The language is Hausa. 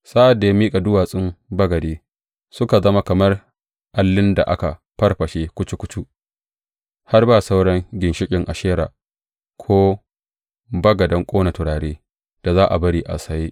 Sa’ad da ya niƙa duwatsun bagade suka zama kamar allin da aka farfashe kucu kucu, har ba sauran ginshiƙan Ashera ko bagadan ƙona turare da za a bari a tsaye.